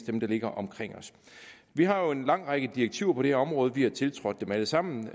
som ligger omkring os vi har jo en lang række direktiver på det her område vi har tiltrådt dem alle sammen